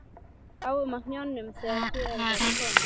Við lágum á hnjánum þegar hér var komið.